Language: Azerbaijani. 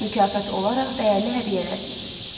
Mükafat olaraq dəyərli hədiyyələr seçilib.